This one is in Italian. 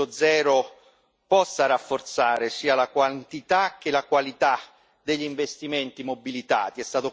2.0 possa rafforzare sia la quantità sia la qualità degli investimenti mobilitati.